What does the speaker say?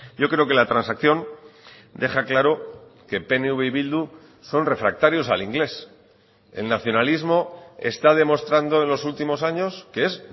yo creo que la transacción deja claro que pnv y bildu son refractarios al inglés el nacionalismo está demostrando en los últimos años que es